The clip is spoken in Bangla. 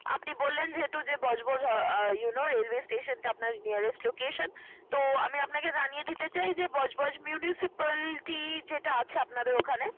আপনি বললেন যেহেতু যে বজবজ আহ you know railway station টা আপনার nearest location । তো আমি আপনাকে জানিয়ে দিতে চাই যে বজবজ municipality যেটা আছে আপনাদের ওখানে